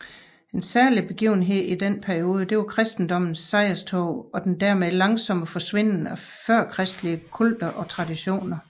En særlig begivenhed i denne periode er kristendommens sejrstog og den dermed langsomme forsvinden af førkristelige kulter og traditioner